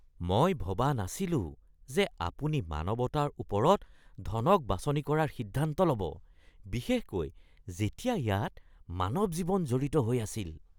মই ভবা নাছিলো যে আপুনি মানৱতাৰ ওপৰত ধনক বাছনি কৰাৰ সিদ্ধান্ত ল'ব, বিশেষকৈ যেতিয়া ইয়াত মানৱ জীৱন জড়িত হৈ আছিল।